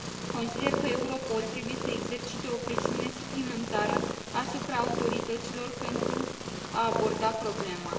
Consider că Europol trebuie să exercite o presiune suplimentară asupra autorităților pentru a aborda problema.